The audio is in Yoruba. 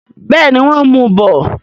Bẹ́ẹ̀ni, wọ́n ń mu bọ̀.